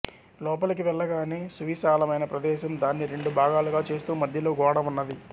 లోపలికి వెళ్ళగానే సువిశాలమైన ప్రదేశం దాన్ని రెండు భాగాలుగా చేస్తూ మధ్యలో గోడ ఉన్నది